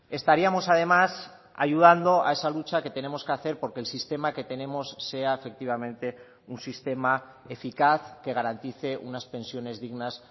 estaríamos además ayudando a esa lucha que tenemos que hacer porque el sistema que tenemos sea efectivamente un sistema eficaz que garantice unas pensiones dignas